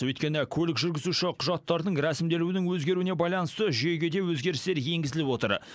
өйткені көлік жүргізуші құжаттарының рәсімделуінің өзгеруіне байланысты жүйеге де өзгерістер енгізіліп отыр